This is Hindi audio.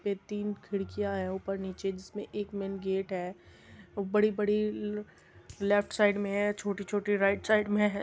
पे तीन खिड़कियां है ऊपर नीचे जिसमे एक मेन गेट है बड़ी-बड़ी लेफ्ट साइड में है छोटी-छोटी राइट साइड में है।